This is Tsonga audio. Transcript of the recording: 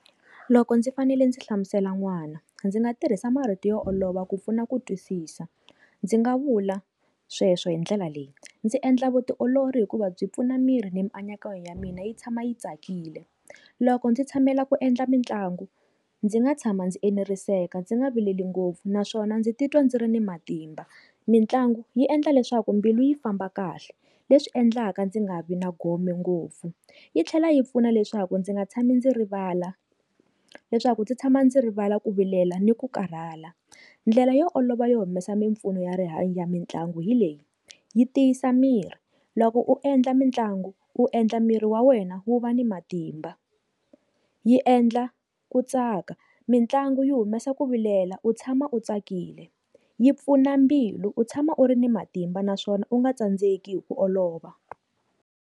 Loko ndzi fanele ndzi hlamusela n'wana ndzi nga tirhisa marito yo olova ku pfuna ku twisisa ndzi nga vula sweswo hi ndlela leyi, ndzi endla vutiolori hikuva byi pfuna miri ni mianakanyo ya mina yi tshama yi tsakile loko ndzi tshamela ku endla mitlangu ndzi nga tshama ndzi eneriseka ndzi nga vileli ngopfu naswona ndzi titwa ndzi ri na matimba. Mintlangu yi endla leswaku mbilu yi famba kahle leswi endlaka ndzi nga vi na gome ngopfu yi tlhela yi pfuna leswaku ndzi nga tshami ndzi rivala leswaku ndzi tshama ndzi rivala ku vilela ni ku karhala ndlela yo olova yo humesa mimpfuno ya rihanyo ya mitlangu hi leyi yi tiyisa miri loko u endla mitlangu u endla miri wa wena wu va ni matimba, yi endla ku tsaka mitlangu yi humesa ku vilela u tshama u tsakile yi pfuna mbilu u tshama u ri ni matimba naswona u nga tsandzeki hi ku olova.